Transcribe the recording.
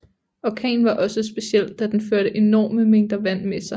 Orkanen var også speciel da den førte ENORME mængder vand med sig